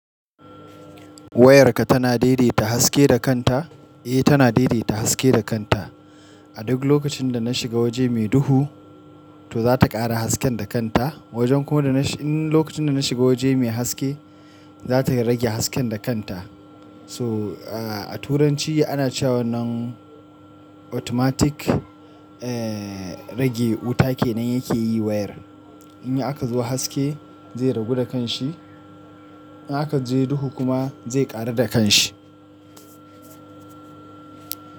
Wayarka tana daidaita haske da kanta? Eh, tana daidaita haske da kanta. A duk lokacin da na shiga waje mai duhu, to za ta ƙara hasken da kanta. Wajen kuma da na in lokacin da na shiga waje mai haske, za ta rage hasken da kanta. So, a Turanci ana cewa nan automatic ehh rage wuta kenan yake yi wayar. In aka zuwa haske zai ragu da kanshi. In aka je duhu kuma zai ƙaru da kanshi.